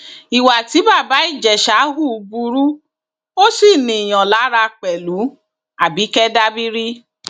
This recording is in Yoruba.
ìwà tí bàbá ìjẹsà hù burú ó sì ríiyàn lára pẹlúabike dabiri